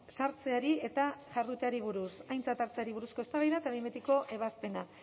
sartzeari eta jarduteari buruz aintzat hartzeari buruzko eztabaida eta behin betiko ebazpena